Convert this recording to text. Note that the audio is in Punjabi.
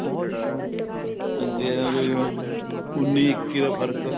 ਅੱਗੇ ਆ ਜਿਵੇਂ ਉੰਨੀ ਇੱਕੀ ਦਾ ਫ਼ਰਕ